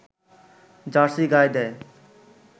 jersey গায়ে দেয়